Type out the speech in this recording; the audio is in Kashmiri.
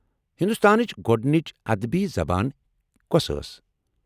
ہندوستانٕچ گۄڈنچ ادبی زبان کیٛاہ ٲس؟